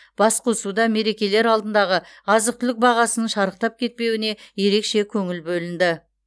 басқосуда мерекелер алдындағы азық түлік бағасының шарықтап кетпеуіне ерекше көңіл бөлінді